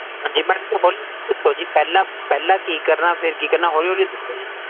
ਵਿੱਚ ਦੇਖੋ ਜੀ, ਪਹਲਾ, ਪਹਲਾ, ਕੀ ਕਰਨਾ, ਫੇਰ ਕੀ ਕਰਨਾ, ਹੋਲੀ ਹੋਲੀ ਦੱਸੋ ਜੀ